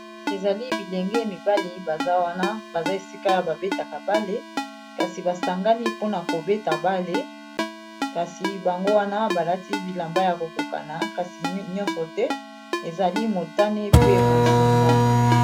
ezali bilenge mibale baza wana baza esika ya babetaka bale kasi basangani mpona kobeta bale kasi bango wana balati bilamba ya kokokana kasi nyonso te ezali motane pe bozinga